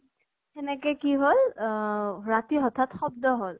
সেনেকে কি হল, ৰাতি হঠাৎ শব্দ হল।